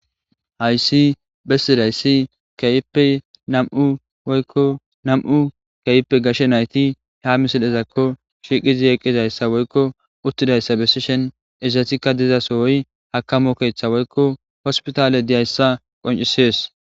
Hayisi besidayis kehipe namu'u woyiko gashe nayiti ha misileko shiqizi utizako betishin Ezatika diza soyi akamo woyi hosipitale dizayissa qoncises.